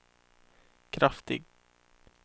kraftig